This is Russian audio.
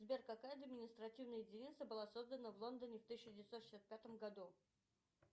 сбер какая административная единица была создана в лондоне в тысяча девятьсот шестьдесят пятом году